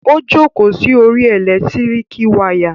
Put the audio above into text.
Ó jókòó sí orí ẹ̀lẹ́tíríkì wayà.